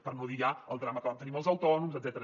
per no dir ja el drama que vam tenir amb els autònoms etcètera